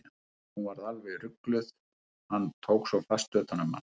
Hún varð alveg rugluð, hann tók svo fast utan um hana.